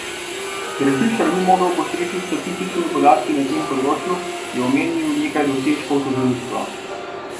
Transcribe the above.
Ker Fišer ni mogel postreči s statističnimi podatki na tem področju, je omenil nekaj dosežkov tožilstva.